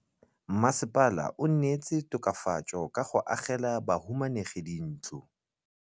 Mmasepala o neetse tokafatsô ka go agela bahumanegi dintlo.